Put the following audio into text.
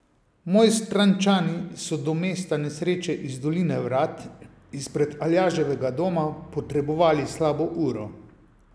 Mojstrančani so do mesta nesreče iz doline Vrat, izpred Aljaževega doma, potrebovali slabo uro.